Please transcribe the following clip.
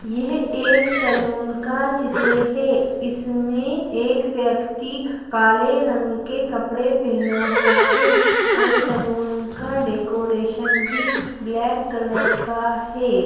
यह एक सैलून का चित्र है इसमें एक व्यक्ति काले रंग के कपड़े पहने खड़ा हुआ है और सैलून का डेकोरेशन भी ब्लैक कलर का है।